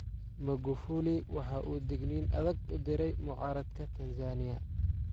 Magufuli waxa uu digniin adag u diray mucaaradka Tansaaniya.